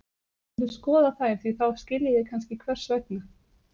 Þið skuluð skoða þær því þá skiljið þið kannski hvers vegna.